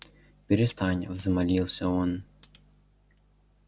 перестань взмолился он